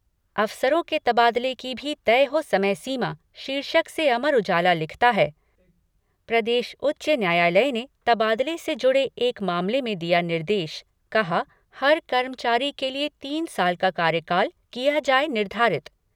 अफसरों के तबादले की भी तय हो समय सीमा शीर्षक से अमर उजाला लिखता है प्रदेश उच्च न्यायालय ने तबादले से जुड़े एक मामले में दिया निर्देश कहा, हर कर्मचारी के लिए तीन साल का कार्यकाल किया जाए निर्धारित।